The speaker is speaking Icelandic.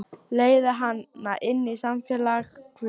Leiða hana inn í samfélag guðs.